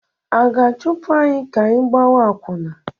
Ị ga-ahapụ anyị ka anyị gbawa akwụna?